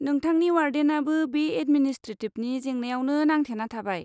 नोंथांनि वार्डेनाबो बे एदमिनिस्ट्रेटिबनि जेंनायावनो नांथेना थाबाय।